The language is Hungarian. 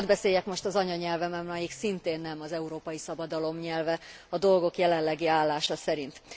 Hadd beszéljek most az anyanyelvemen, ami szintén nem ez európai szabadalom nyelve a dolgok jelenlegi állása szerint.